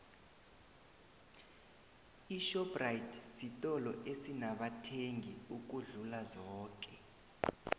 ishoprite sitolo esinamathengi ukudlula zoke